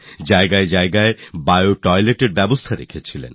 জায়গায় জায়গায় বিও Toiletsএর ব্যবস্থা করেছেন